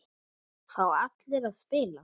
Fá allir að spila?